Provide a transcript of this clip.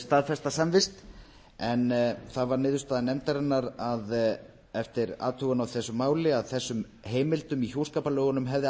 staðfesta samvist en það var niðurstaða nefndarinnar að eftir athugun á þessu máli að þessum heimildum í hjúskaparlögunum hefði